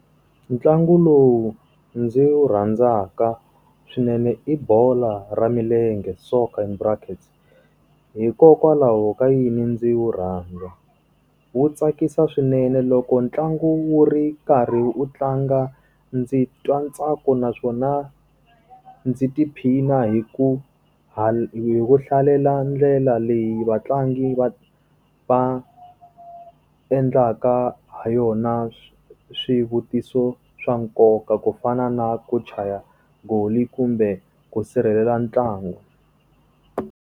Ntlangu lowu ndzi wu rhandzaka swinene i bolo ra milenge soccer in brackets. Hikokwalaho ka yini ndzi wu rhandza? Wu tsakisa swinene loko ntlangu wu ri karhi u tlanga, ndzi twa ntsako naswona ndzi tiphina hi ku hi ku hlalela ndlela leyi vatlangi va va endlaka ha yona swivutiso swa nkoka ku fana na ku chaya goal kumbe ku sirhelela ntlangu.